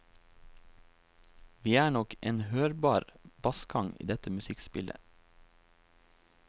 Vi er nok en hørbar bassgang i dette musikkspillet.